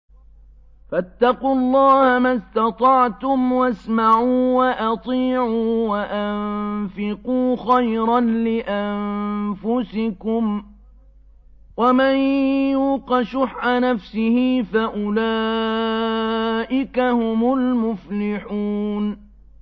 فَاتَّقُوا اللَّهَ مَا اسْتَطَعْتُمْ وَاسْمَعُوا وَأَطِيعُوا وَأَنفِقُوا خَيْرًا لِّأَنفُسِكُمْ ۗ وَمَن يُوقَ شُحَّ نَفْسِهِ فَأُولَٰئِكَ هُمُ الْمُفْلِحُونَ